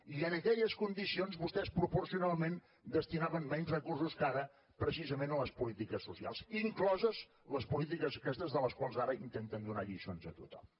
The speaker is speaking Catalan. i en aquelles condicions vostès proporcionalment destinaven menys recursos que ara precisament a les polítiques socials incloses les polítiques aquestes de les quals ara intenten donar lliçons a tothom